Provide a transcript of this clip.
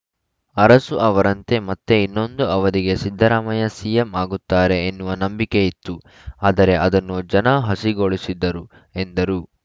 ಅರಸು ಅವರಂತೆ ಮತ್ತೆ ಇನ್ನೊಂದು ಅವಧಿಗೆ ಸಿದ್ದರಾಮಯ್ಯ ಸಿಎಂ ಆಗುತ್ತಾರೆ ಎನ್ನುವ ನಂಬಿಕೆ ಇತ್ತು ಆದರೆ ಅದನ್ನು ಜನ ಹಸಿಗೊಳಿಸಿದರು ಎಂದರು